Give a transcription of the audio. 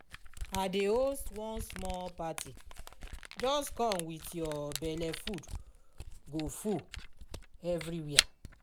i dey host one small party just come with your belle food go full everywhere